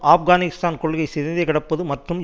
ஆப்கானிஸ்தான் கொள்கை சிதைந்து கிடப்பது மற்றும்